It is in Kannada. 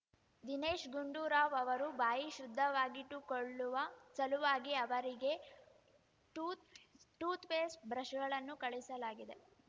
ದಿನೇಶ್‌ ಗುಂಡೂರಾವ್‌ ಅವರು ಬಾಯಿ ಶುದ್ಧವಾಗಿಟ್ಟುಕೊಳ್ಳುವ ಸಲುವಾಗಿ ಅವರಿಗೆ ಟೂಥ್‌ ಟೂಥ್‌ ಪೇಸ್ಟ್‌ ಬ್ರಷ್‌ಗಳನ್ನು ಕಳುಹಿಸಲಾಗಿದೆ